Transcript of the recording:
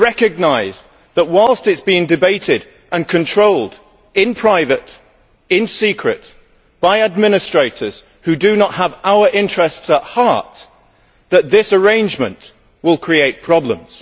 But we recognise that so long as it is debated and controlled in private, in secret, by administrators who do not have our interests at heart this arrangement will create problems.